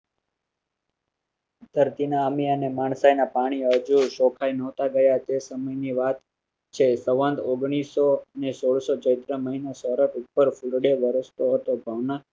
સરખી ના અમી અને માણસાઇના માણસાઇના પાણી આવજે, છોકરાઓએ નહોતા થયા એ સમયની વાત છે, સવંત અઠારસો અગ્નિસ માં ચૈત્ર મહિનો સૌરભ ઉપર ફુલડે વરસતો હતો ભાવના